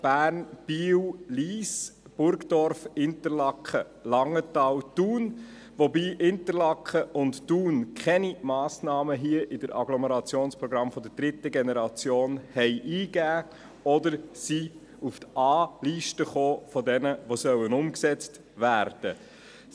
Bern, Biel, Lyss, Burgdorf, Interlaken, Langenthal und Thun, wobei Interlaken und Thun keine Massnahmen hier in den Agglomerationsprogrammen der dritten Generation eingegeben haben oder auf die A-Liste, von denjenigen gekommen sind, die umgesetzt werden sollen.